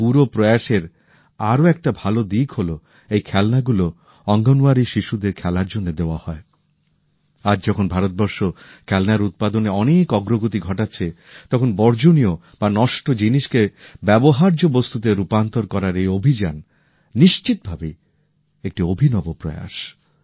আর এই পুরো প্রয়াসের আরো একটা ভাল দিক হলো এই খেলনাগুলো অঙ্গনওয়ারী শিশুদের খেলার জন্য দেওয়া হয় আজ যখন ভারতবর্ষ খেলনার উৎপাদনে অনেক অগ্রগতি ঘটাচ্ছে তখন বর্জ বা নষ্ট জিনিসকে ব্যবহার্য বস্তুতে রূপান্তর করার এই অভিযান নিশ্চিতভাবেই একটি অভিনব প্রয়াস